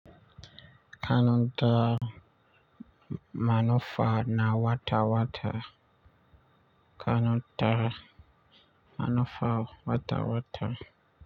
Kana da manufa na wata-wata. Kana da manufa wata-wata.